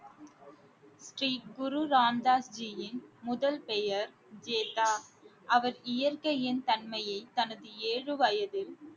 ஸ்ரீ குரு ராம் தாஸ் ஜியின் முதல் பெயர் அவர் இயற்கையின் தன்மையை தனது ஏழு வயதில்